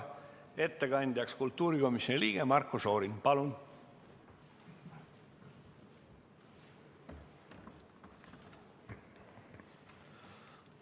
Ettekandjaks kultuurikomisjoni liige Marko Šorin, palun!